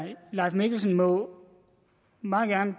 leif mikkelsen må meget gerne